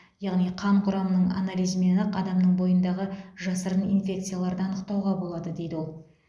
яғни қан құрамының анализімен ақ адамның бойындағы жасырын инфекцияларды анықтауға болады дейді ол